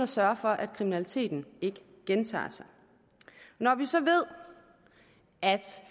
sørge for at kriminaliteten ikke gentager sig når vi så ved at